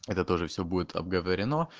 это тоже все будет обговорено